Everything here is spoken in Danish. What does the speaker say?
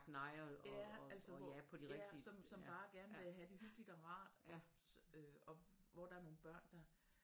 Ja altså ja som bare gerne vil have det hyggeligt og rart og hvor der er nogle børn der